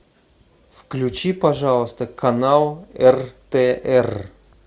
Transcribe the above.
включи пожалуйста канал ртр